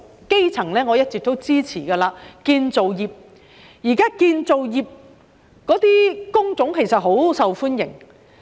基層方面，我一直支持計劃涵蓋建造業。現時建造業的工種很受歡迎。